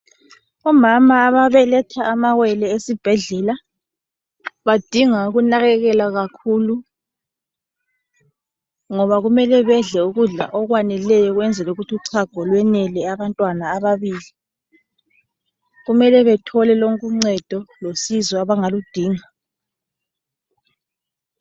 Omama ababeletha amawele esibhedlela, badinga ukunakekelwa kakhulu. Ngoba kumele bedle ukudla okweneleyo kwenzeli ukuthi uchago lwenele abantwana ababili. Kumele bethole lonke uncedo losizo abangaludinga.